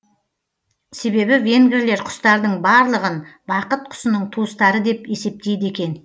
себебі венгрлер құстардың барлығын бақыт құсының туыстары деп есептейді екен